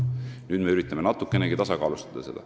Nüüd me üritame seda natukenegi tasakaalustada.